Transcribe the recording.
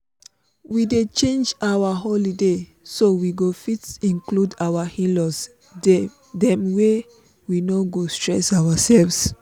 we dey change our holiday so we go fit include our in-laws dem way we no go stress ourselves